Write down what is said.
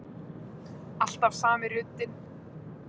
Alltaf sami ruddinn.